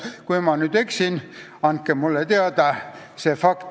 Kui ma eksin, andke mulle teada.